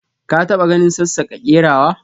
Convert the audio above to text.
ka ta ba ganin sassaka kerawa?